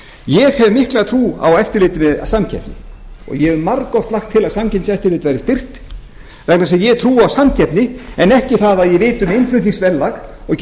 ég hef mikla trú á eftirliti með samkeppni og ég hef margoft lagt til að samkeppniseftirlit verði styrkt vegna þess að ég trúi á samkeppni en ekki það að ég viti um innflutningsverðlag og geti farið